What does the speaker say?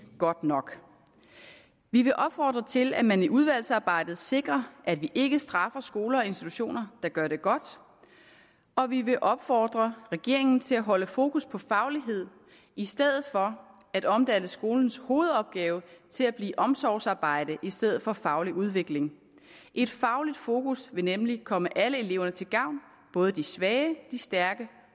godt nok vi vil opfordre til at man i udvalgsarbejdet sikrer at vi ikke straffer skoler og institutioner der gør det godt og vi vil opfordre regeringen til at holde fokus på faglighed i stedet for at omdanne skolens hovedopgave til at blive omsorgsarbejde i stedet for faglig udvikling et fagligt fokus vil nemlig komme alle elever til gavn både de svage de stærke